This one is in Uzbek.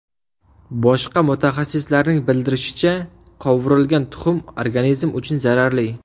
Boshqa mutaxassislarning bildirishicha, qovurilgan tuxum organizm uchun zararli.